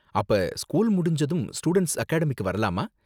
அப்ப ஸ்கூல் முடிஞ்சதும் ஸ்டூடண்ட்ஸ் அகாடமிக்கு வரலாமா?